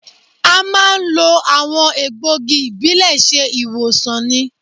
A máa àwọn egbògi ìbílẹ̀ ṣe ìwòsàn ni